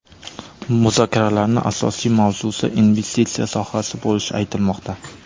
Muzokaralarning asosiy mavzusi investitsiya sohasi bo‘lishi aytilmoqda.